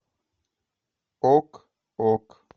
ок ок